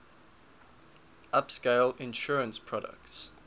upscale insurance products